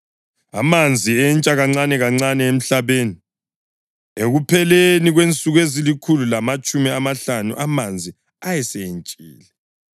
Amanzi entsha kancanekancane emhlabeni. Ekupheleni kwensuku ezilikhulu lamatshumi amahlanu amanzi ayesentshile,